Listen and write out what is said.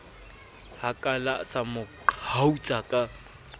hakala sa mo qhautsa ka